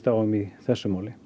á um í þessu máli